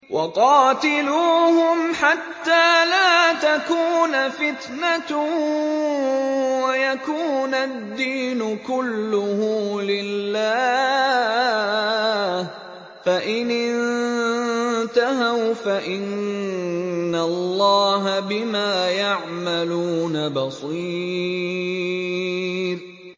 وَقَاتِلُوهُمْ حَتَّىٰ لَا تَكُونَ فِتْنَةٌ وَيَكُونَ الدِّينُ كُلُّهُ لِلَّهِ ۚ فَإِنِ انتَهَوْا فَإِنَّ اللَّهَ بِمَا يَعْمَلُونَ بَصِيرٌ